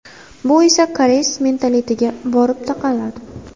Bu esa koreys mentalitetiga borib taqaladi.